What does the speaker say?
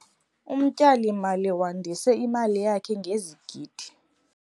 Umtyalimali wandise imali yakhe ngezigidi.